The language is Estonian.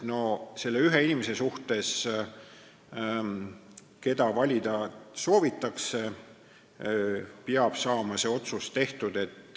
No selle ühe inimese kohta, keda valida soovitakse, peab saama see otsus tehtud.